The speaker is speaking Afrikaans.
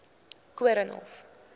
koornhof